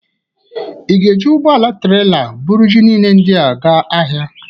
Ị ga-eji ụgbọala trela bụrụ ji niile ndị a ga ahịa?